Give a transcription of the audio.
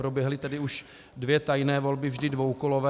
Proběhly tedy už dvě tajné volby, vždy dvoukolové.